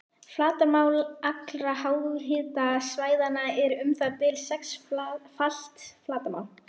Flatarmál allra háhitasvæðanna er um það bil sexfalt flatarmál